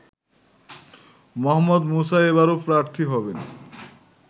মোহাম্মদ মুসা এবারও প্রার্থী হবেন